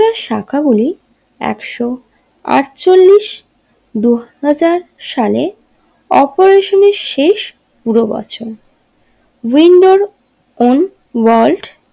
একশো আটচল্লিশ দুহাজার সালে অপেরেশনের শেষ পুরো বছর উইন্ডোর অন ওয়ার্ল্ড।